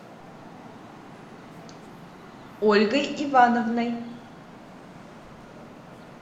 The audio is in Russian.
ольгой ивановной